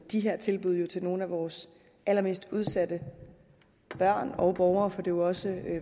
de her tilbud til nogle af vores allermest udsatte børn og borgere for jo også